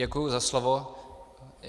Děkuji za slovo.